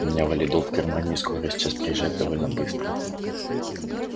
у меня валидол в кармане и скорая сейчас приезжает довольно быстро